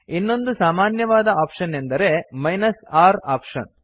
ಇನ್ನೊಂದು ಸಾಮನ್ಯವಾದ ಆಪ್ಶನ್ ಎಂದರೆ r ಆಪ್ಶನ್